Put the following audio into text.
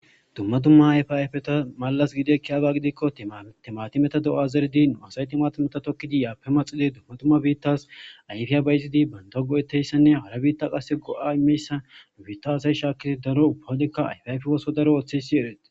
Dumma tumma ayfi ayfeta malas gide kiyada gidikko tmtimati meta do'azerdi nu asayti maatimeta tokkidi yaape maxili dumma tumma biittas ayfiya bayizidi banto go'eteyssenne hala biitta qasse go'a imeyssa nu biitta asay shaakkizi daro ubbawodekka ayfayfi woso daro ooththesi erete.